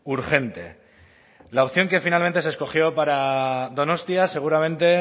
urgente la opción que finalmente se escogió para donostia seguramente